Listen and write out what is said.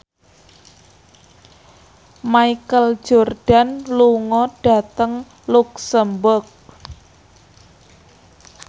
Michael Jordan lunga dhateng luxemburg